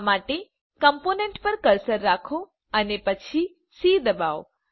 આ માટે કમ્પોનન્ટ પર કર્સર રાખો અને પછી સી દબાવો